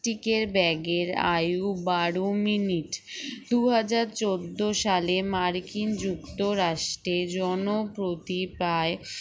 tic এর ব্যাগ এর আয়ু বারো minute দুই হাজার চোদ্দ সালে মার্কিন যুক্তরাষ্ট্রের জন প্রতি প্রায়